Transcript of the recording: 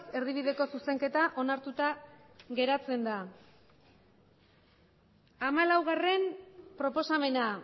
erdibideko zuzenketa onartuta geratzen da hamalaugarrena proposamena